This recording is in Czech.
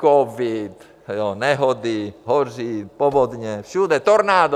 Covid, nehody, hoří, povodně, všude, tornádo.